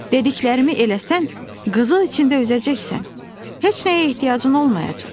Dediklərimi eləsən, qızıl içində üzəcəksən, heç nəyə ehtiyacın olmayacaq."